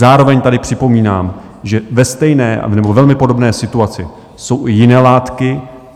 Zároveň tady připomínám, že ve stejné nebo velmi podobné situaci jsou i jiné látky.